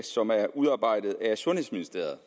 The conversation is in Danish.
som er udarbejdet af ministeriet